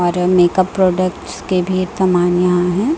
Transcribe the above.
और अमेका प्रोडक्ट्स के भी एक तो मान्या है।